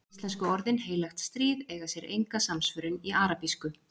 íslensku orðin „heilagt stríð“ eiga sér enga samsvörun í arabísku